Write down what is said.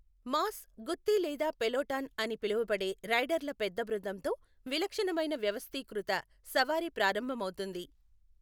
Mass, గుత్తి లేదా peloton అని పిలువబడే రైడర్ల పెద్ద బృందంతో విలక్షణమైన వ్యవస్థీకృత సవారీ ప్రారంభమవుతుంది.